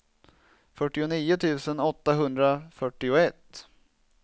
fyrtionio tusen åttahundrafyrtioett